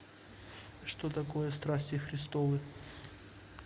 что такое страсти христовы